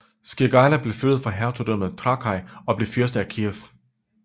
Skirgaila blev flyttet fra hertugdømmet Trakai og blev fyrste af Kijev